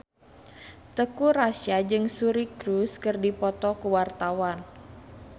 Teuku Rassya jeung Suri Cruise keur dipoto ku wartawan